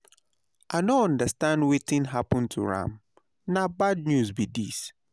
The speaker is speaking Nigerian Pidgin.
I no understand wetin happen to am, na bad news be this.